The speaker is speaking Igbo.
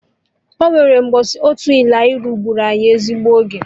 Ọnwere mbọsị otu élaịnụ gburu anyị ezigbo oge